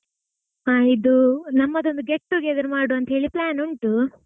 ಹಾ ಇದು ನಮ್ಮದೊಂದು get together ಮಾಡುವಾಂತೇಳಿ plan ಉಂಟು.